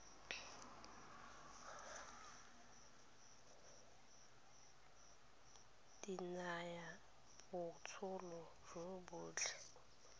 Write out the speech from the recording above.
di nayang botsogo jo bontle